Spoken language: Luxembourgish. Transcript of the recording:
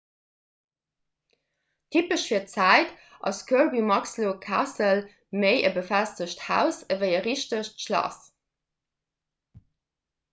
typesch fir d'zäit ass kirby muxloe castle méi e befestegt haus ewéi e richtegt schlass